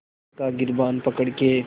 वक़्त का गिरबान पकड़ के